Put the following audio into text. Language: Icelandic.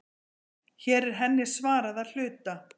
Hér er henni svarað að hluta.